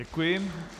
Děkuji.